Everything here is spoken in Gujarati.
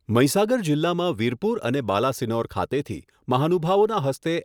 મહીસાગર જિલ્લામાં વિરપુર અને બાલાસિનોર ખાતેથી મહાનુભાવોના હસ્તે